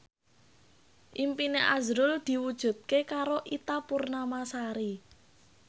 impine azrul diwujudke karo Ita Purnamasari